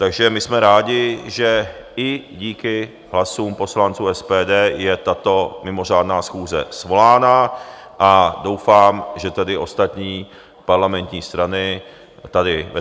Takže my jsme rádi, že i díky hlasům poslanců SPD je tato mimořádná schůze svolána, a doufám, že tedy ostatní parlamentní strany tady ve